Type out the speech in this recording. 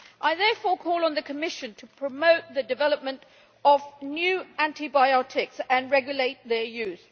I therefore call on the Commission to promote the development of new antibiotics and regulate their use.